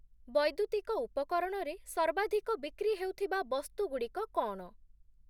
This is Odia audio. ବୈଦ୍ୟୁତିକ ଉପକରଣରେ ସର୍ବାଧିକ ବିକ୍ରି ହେଉଥିବା ବସ୍ତୁଗୁଡ଼ିକ କ’ଣ?